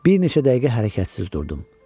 Bir neçə dəqiqə hərəkətsiz durdum.